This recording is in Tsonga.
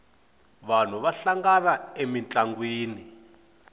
vanhu va hlangana emintlangwini